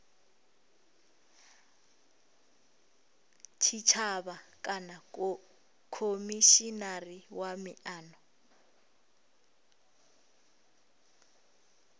tshitshavha kana khomishinari wa miano